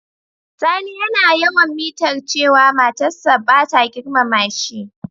Sani yana yawan mitar cewa matar sa bata girmama shi.